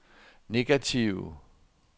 negative